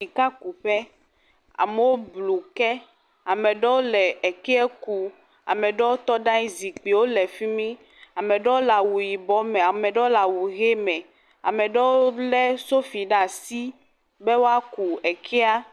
Kekuƒe, amewo blu ke, ame aɖewo le ke kum, ame aɖewo tɔ ɖe anyi, zikpuiwo le fi mi, ame aɖewo le awu yibɔ me, ame ɖewo le awu ʋi me, ame ɖewo lé sofi ɖe asi be woaku kea.